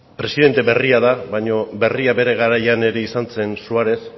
presidente berria da baina berria bere garaian ere izan zen suárez